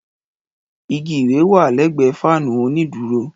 Ìgí ìwé wà lẹgbe fanu ònídúrò